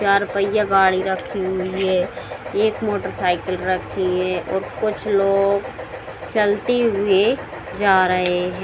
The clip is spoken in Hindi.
चार पहिया गाड़ी रखी हुई है | एक मोटरसाइकिल रखी है और कुछ लोग चलते हुए जा रहे हैं ।